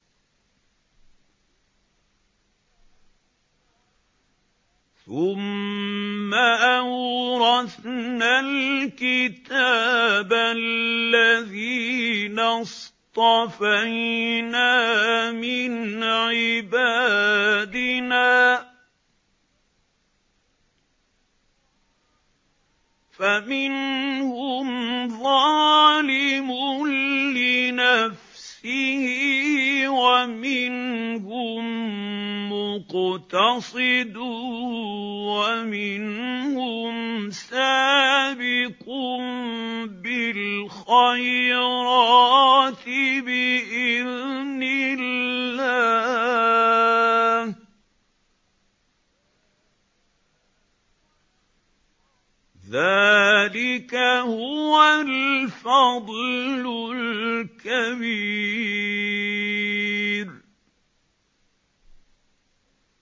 ثُمَّ أَوْرَثْنَا الْكِتَابَ الَّذِينَ اصْطَفَيْنَا مِنْ عِبَادِنَا ۖ فَمِنْهُمْ ظَالِمٌ لِّنَفْسِهِ وَمِنْهُم مُّقْتَصِدٌ وَمِنْهُمْ سَابِقٌ بِالْخَيْرَاتِ بِإِذْنِ اللَّهِ ۚ ذَٰلِكَ هُوَ الْفَضْلُ الْكَبِيرُ